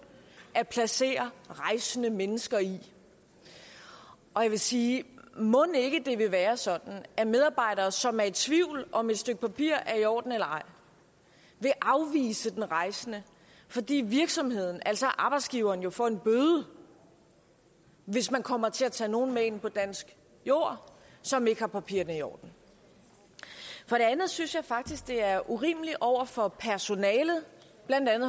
at placere rejsende mennesker i og jeg vil sige mon ikke det vil være sådan at medarbejdere som er i tvivl om om et stykke papir er i orden eller ej vil afvise den rejsende fordi virksomheden altså arbejdsgiveren jo får en bøde hvis man kommer til at tage nogen med ind på dansk jord som ikke har papirerne i orden for det andet synes jeg faktisk det er urimeligt over for personalet